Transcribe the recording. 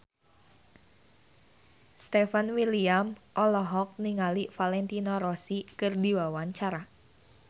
Stefan William olohok ningali Valentino Rossi keur diwawancara